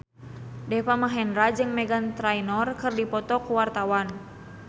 Deva Mahendra jeung Meghan Trainor keur dipoto ku wartawan